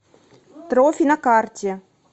трофи на карте